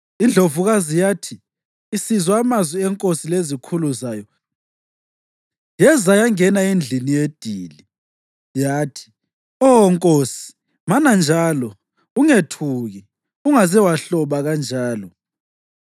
Indlovukazi yathi isizwa amazwi enkosi lezikhulu zayo yeza yangena endlini yedili. Yathi, “Oh nkosi, mana njalo. Ungethuki! Ungaze wahloba kanjalo!